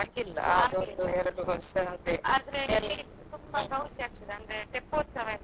ಅಂದ್ರೆ ಇಲ್ಲಿ ತುಂಬಾ ಗೌಜಿ ಆಗ್ತದೆ ಅಂದ್ರೆ ತೆಪ್ಪೋತ್ಸವ ಇರ್ತದೆ.